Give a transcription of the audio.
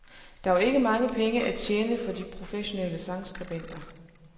Der var ikke mange penge at tjene for de de professionelle sangskribenter.